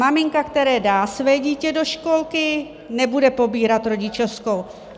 Maminka, která dá své dítě do školky, nebude pobírat rodičovskou.